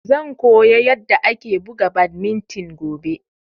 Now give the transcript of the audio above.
Zan koya yanda ake buga badminton gobe